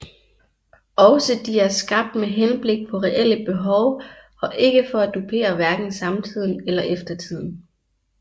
Også de er skabt med henblik på reelle behov og ikke for at dupere hverken samtiden eller eftertiden